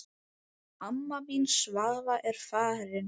Amma mín Svava er farin.